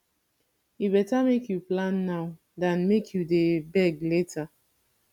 e better make you plan now than make you dey beg later